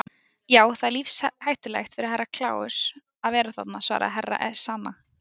Já, það er lífshættulegt fyrir Herra Kláus að vera þarna, svaraði Herra Ezana.